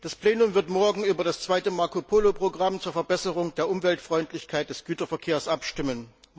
Das Plenum wird morgen über das zweite Marco Polo Programm zur Verbesserung der Umweltfreundlichkeit des Güterverkehrs abstimmen.